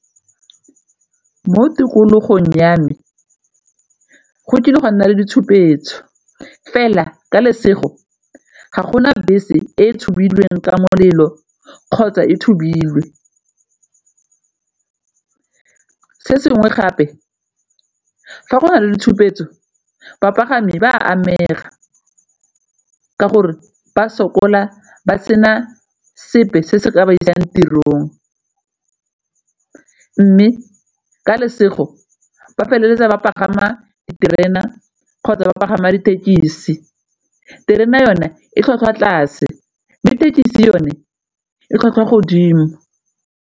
Mo tikologong ya me, go kile gwa nna le ditshupetso fela ka lesego ga gona bese e tshubilweng ka molelo kgotsa e tshubilwe. Se sengwe gape fa go na le le tshupetso bapagami ba amega ka gore ba sokola ba sena sepe se se ka ba isang tirong mme ka lesego ba feleletsa ba pagama diterena kgotsa ba pagama dithekisi. Terena yone e tlhwatlhwa tlase mme thekisi yone e tlhwatlhwa godimo.